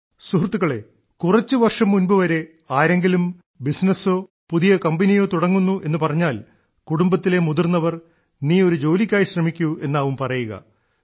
സുഹൃത്തുക്കളേ കുറച്ചുവർഷം മുൻപു വരെ ആരെങ്കരിലും ബിസിനസ്സോ പുതിയ കമ്പനിയോ തുടങ്ങുന്നു എന്നുപറഞ്ഞാൽ കുടുംബത്തിലെ മുതിർന്നവർ നീ ഒരു ജോലിക്കായി ശ്രമിക്കൂ എന്നാവും പറയുക